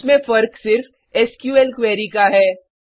इसमें फर्क सिर्फ एसक्यूएल क्वेरी का है